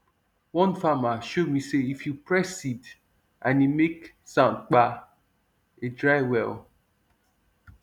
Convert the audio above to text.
one farmer show me say if you press seed and e make soundkpa e dry well